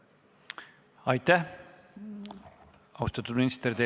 Aitäh, austatud minister!